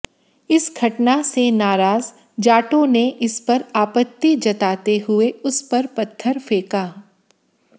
इस घटना से नाराज जाटों ने इस पर आपत्ति जताते हुए उसपर पत्थर फेंका